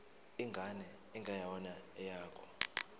ingane engeyona eyakho